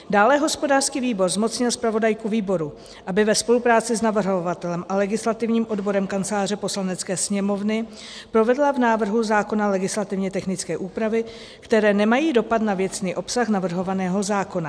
Dále hospodářský výbor zmocnil zpravodajku výboru, aby ve spolupráci s navrhovatelem a legislativním odborem Kanceláře Poslanecké sněmovny provedla v návrhu zákona legislativně technické úpravy, které nemají dopad na věcný obsah navrhovaného zákona.